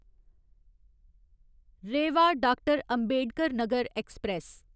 Rewa doctor. Ambedkar Nagar express